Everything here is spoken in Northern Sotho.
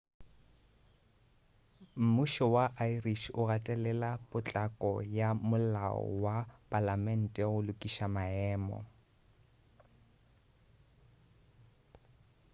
mmušo wa irish o gatelela potlako ya molao wa palamete go lokiša maemo